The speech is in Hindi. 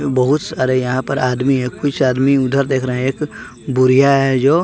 बहुत सारे यहां पर आदमी है कुछ आदमी उधर देख रहे हैं एक बुरिया है जो।